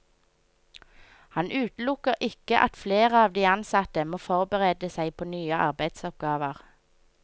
Han utelukker ikke at flere av de ansatte må forberede seg på nye arbeidsoppgaver.